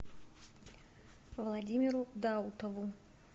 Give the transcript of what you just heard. владимиру даутову